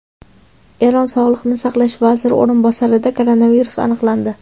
Eron sog‘liqni saqlash vaziri o‘rinbosarida koronavirus aniqlandi .